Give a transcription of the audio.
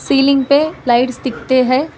Ceiling पे lights टिकते हैं।